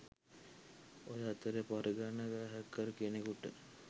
ඔය අතරෙ පරිගණක හැකර් කෙනෙකුට